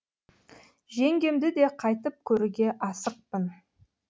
жеңгемді де қайтып көруге асықпын